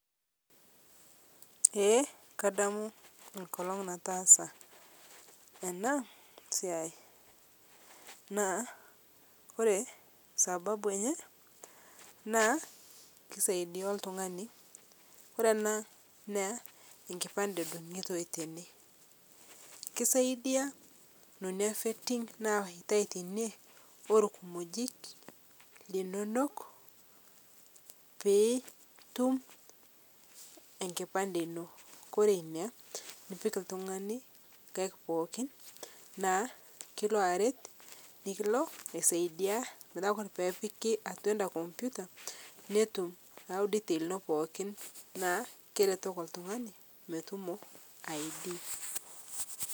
eeh kadamu nkolong' nataasa ena siai naa kore sababu enye naa keisaidia ltung'ani kore ena naa enkipande edungutoi tene keisaidia nonia vetting nawaitai teinie olkumojik linonok pitum enkipande inoo kore inia nipik ltung'ani nkaik pookin naa kilo aret nikilo aisaidia metaa kore peepiki atua anda kompita netum ayau details ino pookin naa keretoki ltung'ani metumo id.